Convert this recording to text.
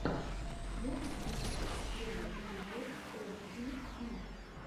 можешь включить первый эпизод эф би и